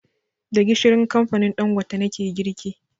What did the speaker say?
Da gishirin kamfanin Ɗangote nake girki